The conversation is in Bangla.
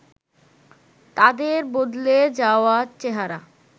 তাদের বদলে যাওয়া চেহারা